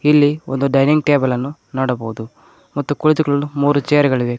ಇಲ್ಲಿ ಒಂದು dining table ಅನ್ನು ನೋಡಬಹುದು ಮತ್ತು ಕುಳಿತುಕೊಳ್ಳಲು ಮೂರು ಚೇರ್ ಗಳಿವೆ.